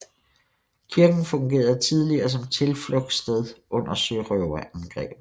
Kirken fungerede tidligere som tilflugtsted under sørøverangreb